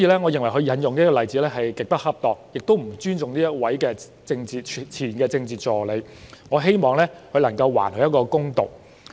我認為他引用的例子極不恰當，亦不尊重這位前任政治助理，我希望他能夠還對方一個公道。